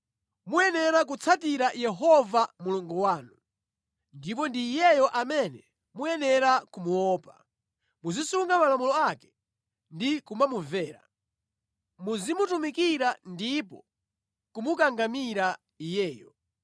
Muyenera kutsatira Yehova Mulungu wanu, ndipo ndi Iyeyo amene muyenera kumuopa. Muzisunga malamulo ake ndi kumamumvera, muzimutumikira ndipo kumukangamira Iyeyo.